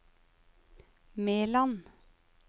Meland